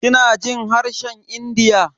Kina jin harshen India?